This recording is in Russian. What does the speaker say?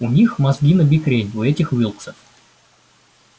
у них мозги набекрень у этих уилксов